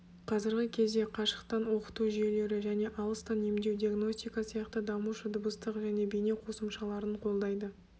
қазіргі кезде қашықтан оқыту жүйелері және алыстан емдеу диагностика сияқты дамушы дыбыстық және бейне қосымшаларын қолдайды